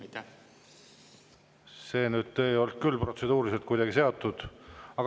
See ei olnud nüüd küll protseduurilise küsimusega kuidagi seotud.